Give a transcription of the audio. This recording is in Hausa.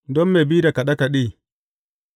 Don mai bi da kaɗe kaɗe.